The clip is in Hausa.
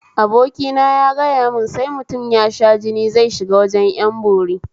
Abokina ya gayamun sai mutum ya sha jini zai shiga wajen ƴan bori